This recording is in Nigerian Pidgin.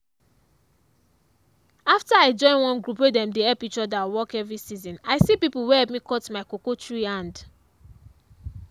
after i join one group wey them dey help each other work every season i see people wey help me cut my cocoa tree hand.